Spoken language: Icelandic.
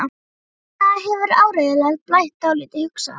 Þarna hefur áreiðanlega blætt dálítið, hugsaði hann.